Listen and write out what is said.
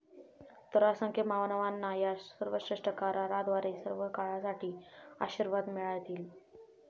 तर, असंख्य मानवांना या सर्वश्रेष्ठ कराराद्वारे सर्वकाळसाठी आशीर्वाद मिळतील.